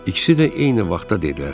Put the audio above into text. İkisi də eyni vaxtda dedilər.